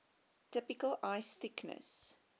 typical ice thickness